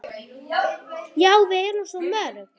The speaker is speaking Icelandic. Já, við erum svo mörg.